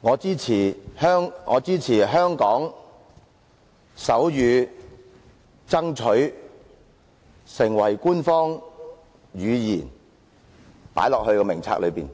我支持香港手語爭取成為官方語言，以加入名冊中。